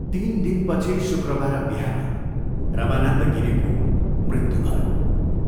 तीन दिनपछि शुक्रबार बिहान रमानन्द गिरीको मृत्यु भयो।